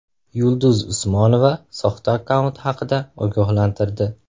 Yulduz Usmonova soxta akkaunt haqida ogohlantirdi.